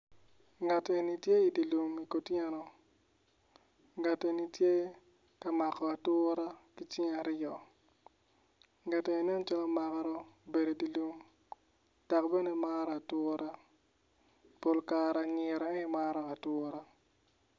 Ngat eni tye idye lum kutyeno ngat eni tye ka mako atura ki cinge ngat eni nen calo maro bedo idye lum dok bene maro atura pol kare anyira en aye maro atura.